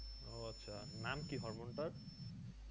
ও আচ্ছা নাম কি hormone টার?